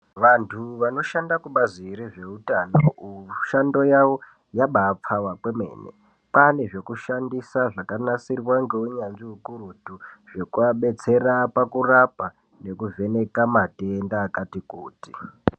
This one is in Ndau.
Vantu vanoshande kubazi rezveutano mushando yavo yabaipfava kwemene kwava nezvekushandisa zvakanasirwa ngeunyanzvi hukurutu zveku vabatsire pakurapwa nekuvheneka matenda akati kuti.